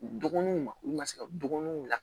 U dɔgɔninw ma olu ma se ka dɔgɔninw bila